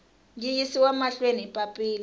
yi yisiwa mahlweni hi papila